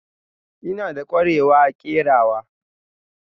Ina da ƙwarewa a kerawa.